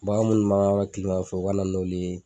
Bagan munnu kilema fɛ u ka na n'olu ye